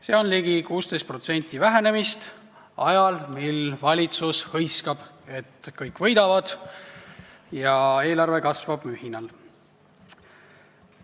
See on ligi 16% vähenemist ajal, mil valitsus hõiskab, et kõik võidavad ja eelarve kasvab mühinal.